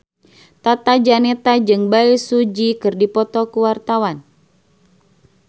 Tata Janeta jeung Bae Su Ji keur dipoto ku wartawan